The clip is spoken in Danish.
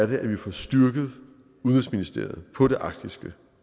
vi får styrket udenrigsministeriet på det arktiske